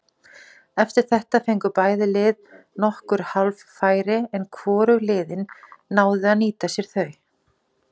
Eftir þetta fengu bæði lið nokkur hálffæri en hvorug liðin náðu að nýta sér þau.